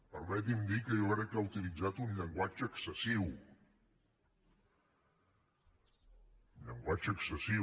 permeti’m dir que jo crec que ha utilitzat un llenguatge excessiu un llenguatge excessiu